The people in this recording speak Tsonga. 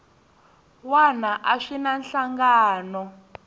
wana a swi na nhlangano